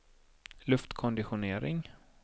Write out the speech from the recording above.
luftkonditionering